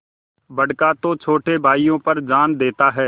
बड़का तो छोटे भाइयों पर जान देता हैं